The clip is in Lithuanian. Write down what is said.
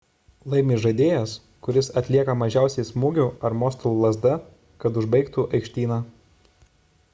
laimi žaidėjas kuris atlieka mažiausiai smūgių ar mostų lazda kad užbaigtų aikštyną